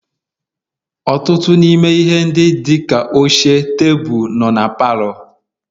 Ọtụtụ n'ime ihe ndị dị ka oche, tebụl, nọrọ na palọ